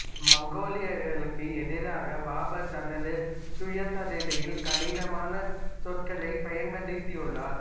மங்கோலியர்களுக்கு எதிராக பாபர் தனது சுயசரிதையில் கடினமான சொற்களைப் பயன்படுத்தியுள்ளார்